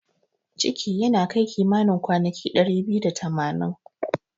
Ciki yana kai kimanin kwanaki dari biyu da tamanin.